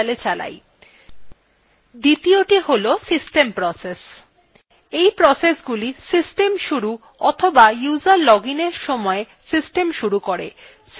দ্বিতীযটি হল system processes এই processesগুলি system শুরু অথবা user login এর সময় system শুরু করে